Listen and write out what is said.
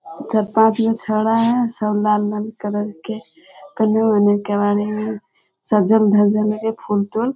चार पाँच गो छौड़ा है सब लाल लाल कलर के तन्नी-मन्नी केबाड़ी में सज्जल धज्जल के फूल-तुल।